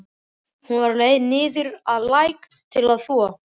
Hún var á leið niður að læk til að þvo.